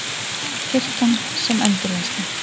Kirkjan sem endurvinnslu